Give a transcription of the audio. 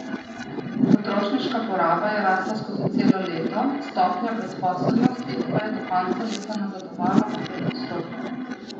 Potrošniška poraba je rasla skozi celo leto, stopnja brezposelnosti pa je do konca leta nazadovala na pet odstotkov.